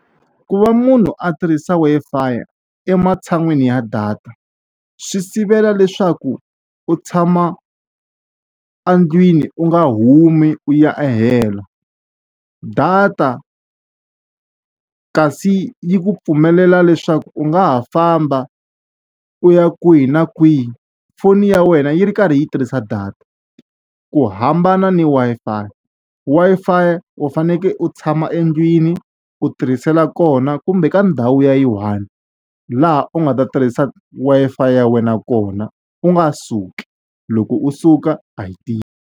Ku va munhu a tirhisa Wi-Fi ematshan'wini ya data, swi sivela leswaku u tshama endlwini u nga humi u ya helo. Data kasi yi ku pfumelela leswaku u nga ha famba u ya kwihi na kwihi foni ya wena yi ri karhi yi tirhisa data, ku hambana ni Wi-Fi. Wi-Fi u fanekele u tshama endlwini u tirhisela kona, kumbe ka ndhawu ya yi one. Laha u nga ta tirhisa Wi-Fi ya wena kona, u nga suki. Loko u suka a yi tirhi.